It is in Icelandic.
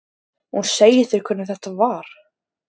Hún segir þér hvernig þetta var.